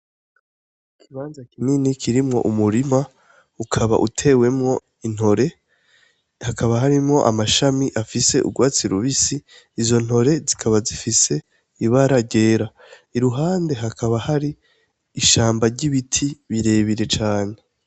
Ikibanza kinini kirimwo umurima, ukaba utewemwo intore. Hakaba hariho amashami afise urwatsi rubisi. Izo ntore zikaba zifise ibara ryera. Iruhande hakaba hari ishamba ry'ibiti birebire cane.